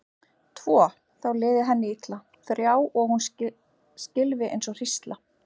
Tvo, þá liði henni illa, þrjá og hún skylfi eins og hrísla.